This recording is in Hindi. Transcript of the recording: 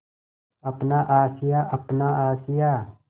अपना आशियाँ अपना आशियाँ